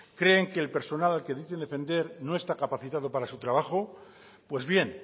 creen que el personal al que dicen defender no está capacitado para su trabajo pues bien